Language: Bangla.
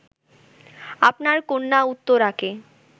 আপনার কন্যা উত্তরাকে